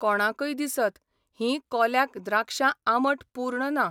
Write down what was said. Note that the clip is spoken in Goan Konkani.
कोणाकय दिसत, हीं कोल्याक द्राक्षां आंबट पूर्ण ना.